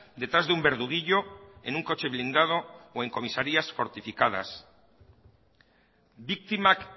detrás de un verduguillo en un coche blindado o en comisarías fortificadas biktimak